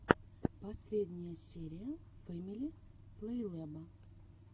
последняя серия фэмили плейлэба